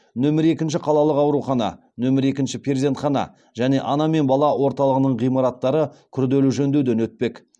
нөмірі екінші қалалық аурухана нөмірі екінші перзентхана және ана мен бала орталығының ғимараттары күрделі жөндеуден өтпек